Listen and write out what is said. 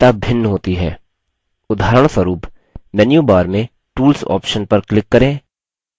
उदाहरणस्वरुप menu bar में tools option पर click करें और फिर options पर click करें